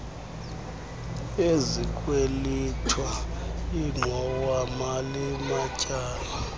ezikwelitwa ingxowamali matyala